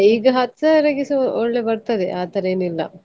ಹಾ ಈಗ ಹತ್ತು ಸಾವಿರಕ್ಕೆಸ ಒಳ್ಳೆ ಬರ್ತದೆ ಆತರ ಏನಿಲ್ಲ.